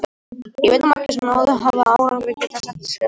Ég veit að margir, sem náð hafa árangri, geta sagt svipaða sögu.